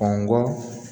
Ɔ ngɔ